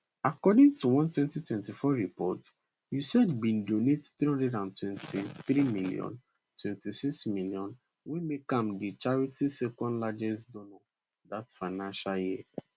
according to one 2024 report usaid bin donate 323m 26m wey make am di charity secondlargest donor dat financial year